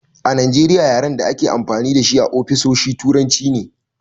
A Najeriya yaren a dake amfani dashi a ofisoshi turanci ne